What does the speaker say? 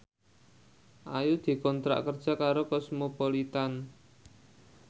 Ayu dikontrak kerja karo Cosmopolitan